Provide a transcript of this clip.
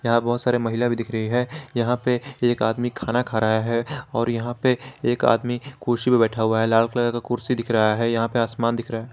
यहां बहुत सारे महिला भी दिख रही है यहां पे एक आदमी खाना खा रहा है और यहां पे एक आदमी कुर्सी में बैठा हुआ है लाल कलर का कुर्सी दिख रहा है यहां पे आसमान दिख रहा --